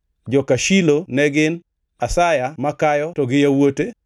Joka Shilo ne gin: Asaya makayo to gi yawuote.